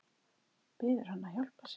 Biður hann að hjálpa sér.